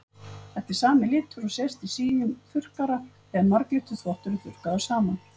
Þetta er sami litur og sést í síum þurrkara þegar marglitur þvottur er þurrkaður saman.